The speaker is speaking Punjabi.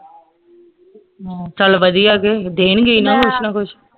ਹਮ ਚੱਲ ਵਧੀਆ ਕੇ ਦੇਣਗੇ ਹੀ ਨਾ ਕੁਸ਼ ਨਾ ਕੁਸ਼